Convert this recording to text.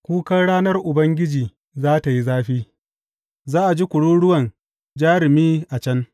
Kukan ranar Ubangiji za tă yi zafi, za a ji kururuwan jarumi a can.